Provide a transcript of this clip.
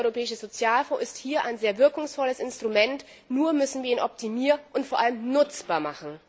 Der Europäische Sozialfonds ist hier ein sehr wirkungsvolles Instrument, nur müssen wir ihn optimieren und vor allem nutzbar machen.